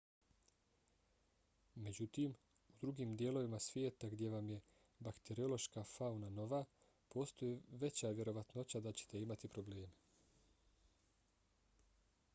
međutim u drugim dijelovima svijeta gdje vam je bakteriološka fauna nova postoji veća vjerovatnoća da ćete imati probleme